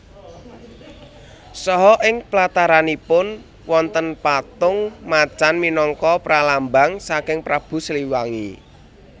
Saha ing plataranipun wontenpatung macan minangka pralambang saking Prabu Siliwangi